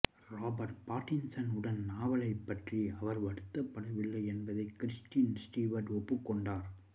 Robert Pattinson உடன் நாவலைப் பற்றி அவர் வருத்தப்படவில்லை என்பதை கிறிஸ்டன் ஸ்டீவர்ட் ஒப்புக் கொண்டார்